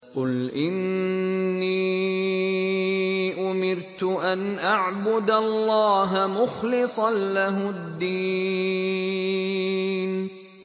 قُلْ إِنِّي أُمِرْتُ أَنْ أَعْبُدَ اللَّهَ مُخْلِصًا لَّهُ الدِّينَ